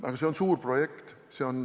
Aga see on suur projekt.